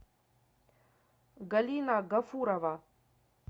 галина гафурова